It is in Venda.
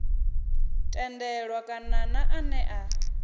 tendelwa kale na ane a